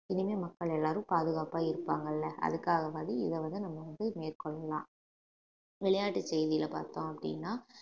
இனிமே மக்கள் எல்லாரும் பாதுகாப்பா இருப்பாங்கல்ல அதுக்காகவாவது இத வந்து நம்ம வந்து மேற்கொள்ளலாம் விளையாட்டு செய்தியில பார்த்தோம் அப்படின்னா